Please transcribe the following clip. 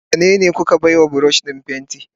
Wanene kuka baiwa brush din fenti?